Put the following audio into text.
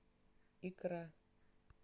икра